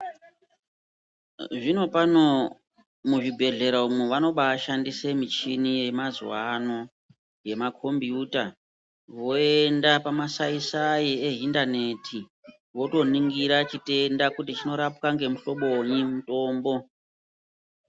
Zvinopano muzvibhehlera umwo vanobashandisa michini yemazuwano yemakombiyuta voenda pamasaisai ehindaneti votoningira chitenda kuti chinorapwa nemuhloboiwa mutombo.